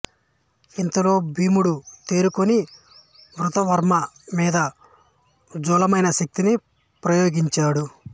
ఇంతలో భీముడు తేరుకుని కృతవర్మ మీద ఉజ్వలమైన శక్తిని ప్రయోగించాడు